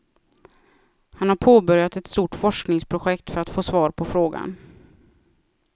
Han har påbörjat ett stort forskningsprojekt för att få svar på frågan.